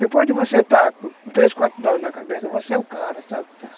Depois de você estar com três, quatro doses na cabeça, você é o cara, sabe?